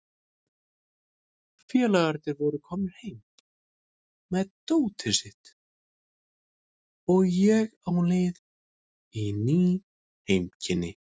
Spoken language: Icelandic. Félagarnir voru komnir heim með dótið sitt og ég á leið í ný heimkynni.